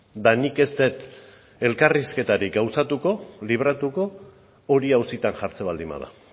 eta nik ez dut elkarrizketarik gauzatuko libratuko hori auzitan jartzen baldin bada